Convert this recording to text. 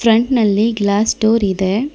Front ನಲ್ಲಿ glass door ಇದೆ.